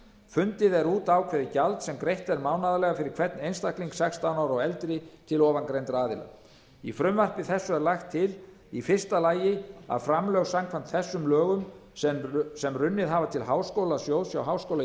fundið er út ákveðið gjald sem greitt er mánaðarlega fyrir hvern einstakling sextán ára og eldri til ofangreindra aðila í frumvarpi þessu er lagt til í fyrsta lagi að framlög samkvæmt þessu lögum sem runnið hafa til háskólasjóðs hjá háskóla